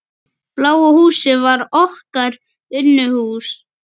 Bláa húsið var okkar Unuhús.